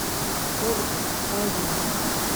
ольга каримова